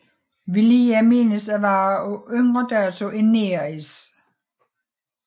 Viliya menes at være af yngre dato end Neris